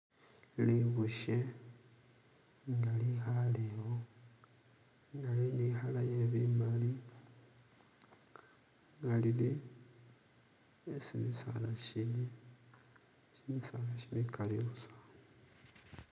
Libushe nga likaalewo nga lili ni kala iye'bimali nga lili esi shisaala shili, shisaala shigali busa